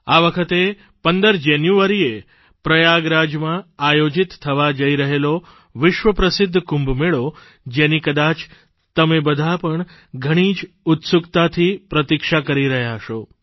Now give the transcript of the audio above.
આ વખતે 15 જાન્યુઆરીએ પ્રયાગરાજમાં આયોજિત થવા જઇ રહેલો વિશ્વ પ્રસિદ્ધ કુંભમેળો જેની કદાચ તમે બધાં પણ ઘણી જ ઉત્સુકતાથી પ્રતિક્ષા કરી રહ્યા હશો